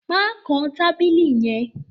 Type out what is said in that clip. Mà kàn tabílì yẹ̀n!